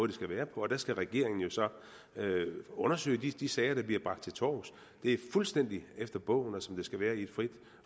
det skal være på der skal regeringen jo så undersøge de de sager der bliver bragt til torvs det er fuldstændig efter bogen og som det skal være i et frit